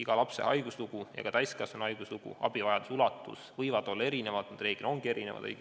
Iga lapse ja ka täiskasvanu haiguslugu ja abivajaduse ulatus võivad olla erinevad, reeglina ongi erinevad.